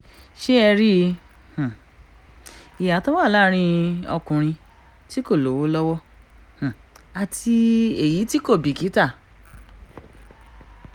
ṣé ẹ rí i ìyàtọ̀ wa láàrin ọkùnrin tí kò lówó lọ́wọ́ àti èyí tí kò bìkítà